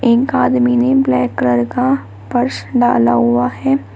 एक आदमी ने ब्लैक कलर का पर्स डाला हुआ है।